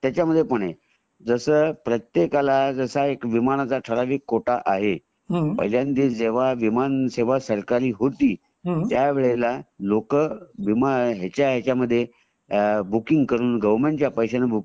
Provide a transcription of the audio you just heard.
त्याचमध्ये पण आहे जस प्रत्येकाला असा विमानाचा ठराविक कोटा आहे पहिल्यांदा विमान सेवा ही सरकारी होती त्यावेळेला लोकं ह्याचा ह्याचा मध्ये बूकिंग करून गोवेरमेन्ट च्या पैशयामधून बूकिंग